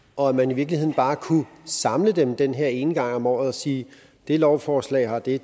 og at man i virkeligheden bare kunne samle dem den her ene gang om året og sige det lovforslag har de